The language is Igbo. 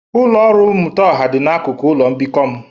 Ụlọ ọrụ mmụta ọha dị n'akụkụ ụlọ mbikọ m.